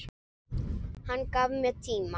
Hann gaf mér tíma.